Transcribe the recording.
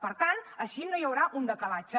per tant així no hi haurà un decalatge